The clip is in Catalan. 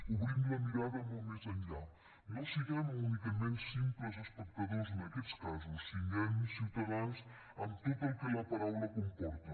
obrim la mirada molt més enllà no siguem únicament simples espectadors en aquests casos siguem ciutadans amb tot el que la paraula comporta